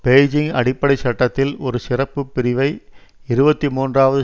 Beijing அடிப்படை சட்டத்தில் ஒரு சிறப்பு பிரிவை இருபத்தி மூன்றாவது